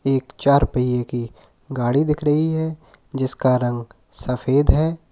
एक चार पहिए की गाड़ी दिख रही है जिसका रंग सफेद है।